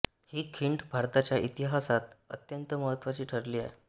ही खिंड भारताच्या इतिहासात अत्यंत महत्त्वाची ठरली आहे